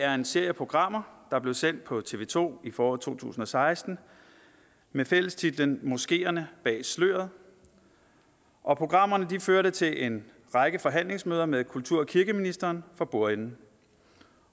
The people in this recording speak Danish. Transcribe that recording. er en serie programmer der blev sendt på tv to i foråret to tusind og seksten med fællestitlen moskeerne bag sløret og programmerne førte til en række forhandlingsmøder med kultur og kirkeministeren for bordenden